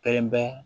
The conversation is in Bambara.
Kelen bɛ